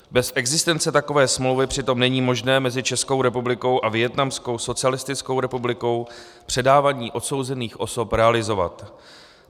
Bez existence takové smlouvy přitom není možné mezi Českou republikou a Vietnamskou socialistickou republikou předávání odsouzených osob realizovat.